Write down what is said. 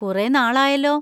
കുറെ നാൾ ആയല്ലോ.